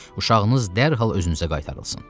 Uşağınız dərhal özünüzə qaytarılsın.